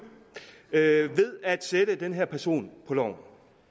ved at sætte den her person på loven